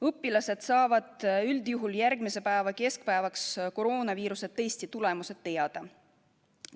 Õpilased saavad üldjuhul järgmise päeva keskpäevaks koroonaviiruse testi tulemused teada.